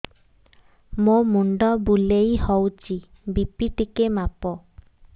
ମୋ ମୁଣ୍ଡ ବୁଲେଇ ହଉଚି ବି.ପି ଟିକେ ମାପ